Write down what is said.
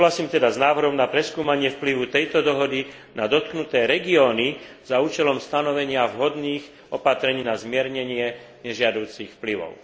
Súhlasím teda s návrhom na preskúmanie vplyvu tejto dohody na dotknuté regióny za účelom stanovenia vhodných opatrení na zmiernenie nežiaducich vplyvov.